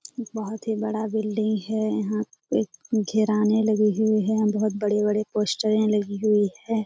बोहोत ही बड़ा बिल्डिंग है। यहां एक लगी हुई है। बोहोत बड़े-बड़े पोस्टरें लगी हुई हैं।